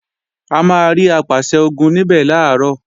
A máa rí Apàṣẹ-Ogun níbẹ̀ làárọ̀